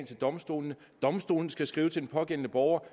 til domstolene domstolene skal skrive til den pågældende borger